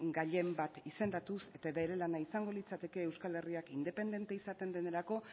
gailen bat izendatuz eta bere lana izango litzateke euskal herriak independente izaten denerako